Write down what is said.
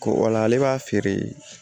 Ko wala ale b'a feere